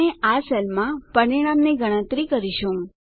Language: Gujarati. આપણે આ સેલમાં પરિણામની ગણતરી કરીશું